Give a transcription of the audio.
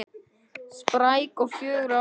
Spræk og fjörug, já.